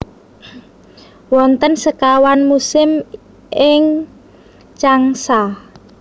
Wonten sekawan musim ing Changsa